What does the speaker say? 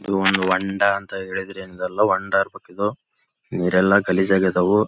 ಇದು ಒಂದು ಒಂಡ ಅಂತ ಹೇಳಿದ್ರೆ ಏನಿದೆಲ್ಲ ಒಂಡ ಇರ್ಬೆಕ್ ಇದು ಇವ್ರೆಲ್ಲ ಗಲೀಜ್ ಆಗ್ಯಾದವು.